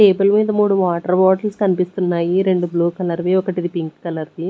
Table మీద మూడు water bottles కనిపిస్తున్నాయి రెండు బ్లూ కలర్వి ఒకటిది పింక్ కలర్ ది.